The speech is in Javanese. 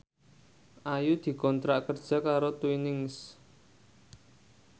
Ayu dikontrak kerja karo Twinings